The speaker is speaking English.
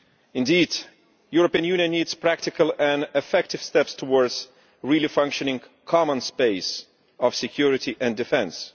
Indeed, the European Union needs to take practical and effective steps towards a well functioning common space of security and defence.